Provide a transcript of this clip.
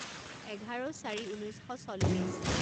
এঘাৰ চাৰি ঊনৈছ শ চল্লিছ